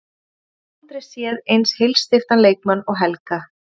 Við höfum aldrei séð eins heilsteyptan leikmann og Helga.